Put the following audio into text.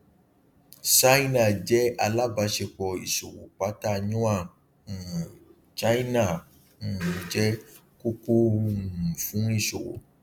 ṣáínà jẹ alábàṣepọ ìṣòwò pátá yuan um china um jẹ kókó um fún ìṣòwò